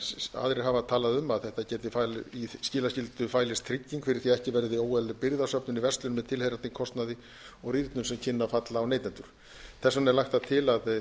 aðrir hafa talað um að í skilaskyldu fælist trygging fyrir því að ekki verði óeðlileg birgðasöfnun í verslun með tilheyrandi kostnaði og rýrnun sem kynni að falla á neytendur þess vegna er lagt til að